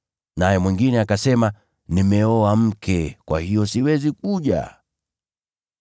Naye mwingine akasema, ‘Nimeoa mke, kwa hiyo siwezi kuja.’